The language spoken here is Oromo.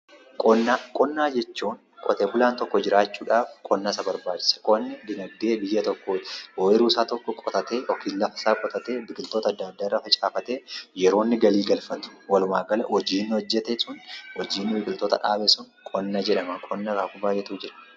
Qonnaa, qonna jechuun qote bulaan tokko jiraachuudhaaf qonna isa barbaachisa qonni dinagdee biyya tokkooti ooyiruusaa tokko qotatee yookiin lafa isaa qotatee biqiloota adda addaa irra facaafatee yeroo inni galii galfatu walumaa gala hojii inni hojjate sun hojiin biqiloota dhaabe sun qonna jedhama. Qonna akaakuu baayyeetu jira.